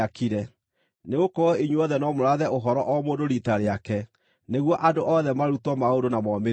Nĩgũkorwo inyuothe no mũrathe ũhoro o mũndũ riita rĩake nĩguo andũ othe marutwo maũndũ na momĩrĩrio.